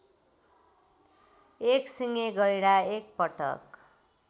एकसिङे गैंडा एकपटक